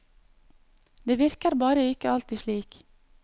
Det virker bare ikke alltid slik.